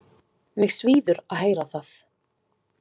Mig svíður að heyra það.